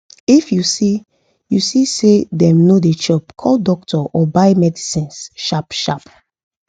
if u see u see say them no da chop call doctor or buy medicines sharp sharp